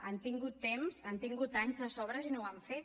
han tingut temps han tingut anys de sobres i no ho han fet